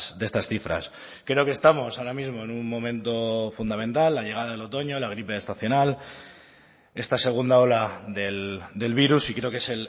de estas cifras creo que estamos ahora mismo en un momento fundamental la llegada del otoño la gripe estacional esta segunda ola del virus y creo que es